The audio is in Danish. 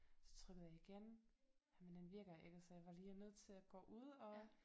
Så trykkede jeg igen jamen den virker ikke så jeg var lige nødt til at gå ud og